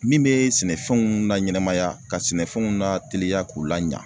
Min bee sɛnɛfɛnw laɲɛnamaya ka sɛnɛfɛnw lateliya k'u laɲa